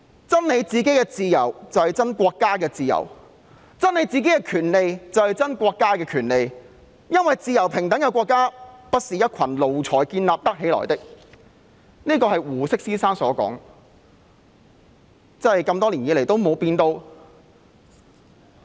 "爭你們個人的自由，便是為國家爭自由；爭你們個人的權利，便是為國家爭權利，因為自由平等的國家不是一群奴才建造得起來的"，這是胡適先生所說的，多年後仍然沒有變。